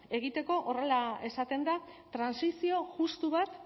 egiteko horrela esaten da trantsizio justu bat